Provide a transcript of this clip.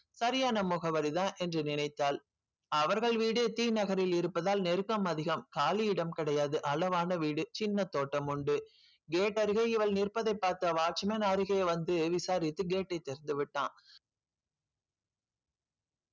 சரியான முகவரிதான் என்று நினைத்தாள் அவர்கள் வீடு டி நகரில் இருப்பதால் நெருக்கம் அதிகம் காலி இடம் கிடையாது அளவான வீடு சின்ன தோட்டம் உண்டு gate அருகே இவள் நிற்பதைப் பார்த்த watchman அருகே வந்து விசாரித்து gate ஐ திறந்து விட்டான்